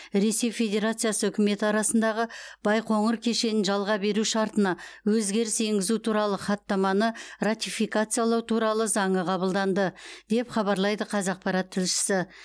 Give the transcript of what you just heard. ресей федерациясы үкіметі арасындағы байқоңыр кешенін жалға беру шартына өзгеріс енгізу туралы хаттаманы ратификациялау туралы заңы қабылданды деп хабарлайды қазақпарат тілшісі